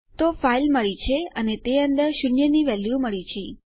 તો આપણને આપણી ફાઈલ મળી છે અને તે અંદર શૂન્યની વેલ્યુ મળી છે